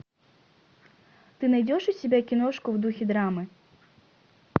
ты найдешь у себя киношку в духе драмы